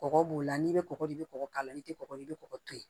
Kɔgɔ b'o la n'i bɛ kɔgɔ di i kɔgɔ k'a la i tɛ kɔgɔ ye i bɛ kɔgɔ to yen